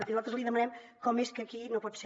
i nosaltres li demanem com és que aquí no pot ser